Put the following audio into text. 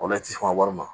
O la i ti sɔn ka wari ma